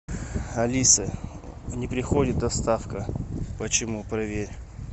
алиса не приходит доставка почему проверь